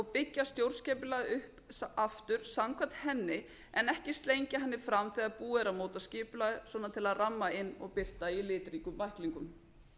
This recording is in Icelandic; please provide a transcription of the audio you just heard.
byggja stjórnskipulag upp aftur samkvæmt henni en ekki slengja henni fram þegar búið er að móta skipulag til að ramma inn og birta í litríkum bæklingum